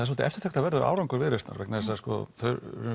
svolítið eftirtektarverður árangur Viðreisnar vegna þess að þau